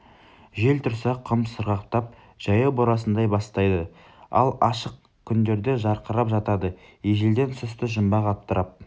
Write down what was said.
жел тұрса құм сырғақтап жаяу борасындай бастайды ал ашық күндерде жарқырап жатады ежелден сұсты жұмбақ атырап